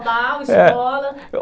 escola.